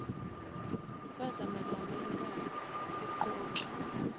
kwazamazama intaba iqokli